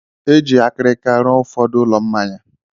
E ji akịrịka ruo ụfọdụ ụlọ mmanya.